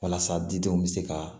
Walasa didenw bɛ se ka